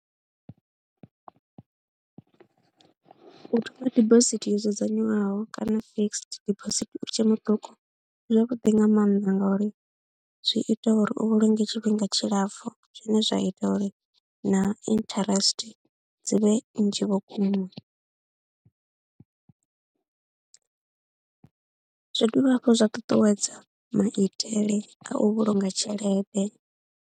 U thoma dibosithi yo dzudzanywaho kana fixed dibosithi u tshe muṱuku zwavhuḓi nga maanḓa ngauri zwi ita uri u vhulunge tshifhinga tshilapfhu zwine zwa ita uri na interest dzi vhe nnzhi vhukuma, zwi dovha hafhu zwa ṱuṱuwedza maitele a u vhulunga tshelede.